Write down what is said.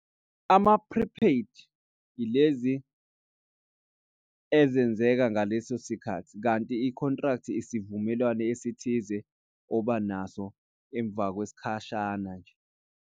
Ama-prepaid ilezi ezenzeka ngaleso sikhathi kanti i-contract isivumelwano esithize oba naso emva kwesikhashana nje.